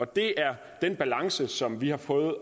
det er den balance som vi har prøvet